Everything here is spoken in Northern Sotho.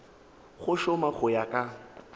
go šoma go ya ka